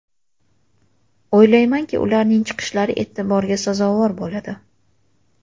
O‘ylaymanki, ularning chiqishlari e’tiborga sazovor bo‘ladi.